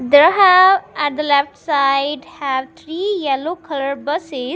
there have at the left side have three yellow color buses.